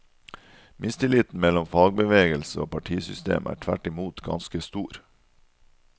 Mistilliten mellom fagbevegelse og partisystem er tvert imot ganske stor.